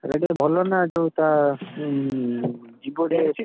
ସେଇଟା ଟିକେ ଭଲ ନା ଯୋଉ ତା ଜୀବ ଟିକେ